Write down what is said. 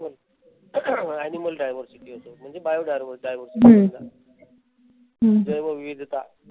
animal diversity असेल. म्हणजे bio diversity जैवविविधता